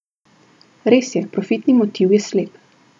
Res je, profitni motiv je slep!